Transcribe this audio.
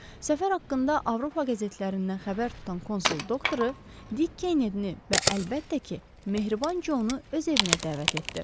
Səfər haqqında Avropa qəzetlərindən xəbər tutan konsul doktoru, Dik Kennedyni və əlbəttə ki, mehriban Conu öz evinə dəvət etdi.